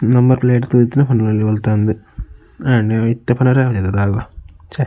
Number plate ತೂದಿತ್ತ್ಂಡ ಪನೊಲಿ ಒಲ್ತಾಂದ್ ಆಂಡ ಇತ್ತೆ ಪನೆರೆಲ ಆಪುಜತ ದಾಲ್ಲ ಛೆ.